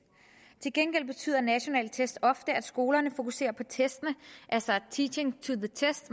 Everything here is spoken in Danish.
til gengæld betyder nationale test ofte at skolerne fokuserer på testene altså teaching to the test